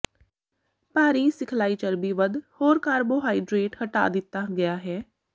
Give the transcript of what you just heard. ਭਾਰੀ ਸਿਖਲਾਈ ਚਰਬੀ ਵੱਧ ਹੋਰ ਕਾਰਬੋਹਾਈਡਰੇਟ ਹਟਾ ਦਿੱਤਾ ਗਿਆ ਹੈ